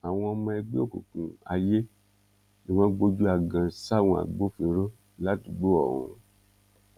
àwọn ọmọ ẹgbẹ́ òkùnkùn ayé ni wọ́n gbójú agan sáwọn agbófinró ládùúgbò ọ̀hún